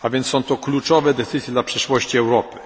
Są to kluczowe decyzje dla przyszłości Europy.